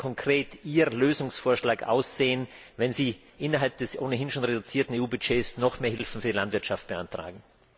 Wie würde konkret Ihr Lösungsvorschlag aussehen, wenn Sie innerhalb des ohnehin schon reduzierten EU Budgets noch mehr Hilfen für die Landwirtschaft beantragen?